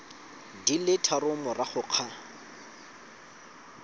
di le tharo morago ga